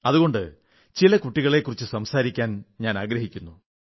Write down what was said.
അതുകൊണ്ട് ചില കുട്ടികളെക്കുറിച്ച് സംസാരിക്കാൻ ആഗ്രഹിക്കുന്നു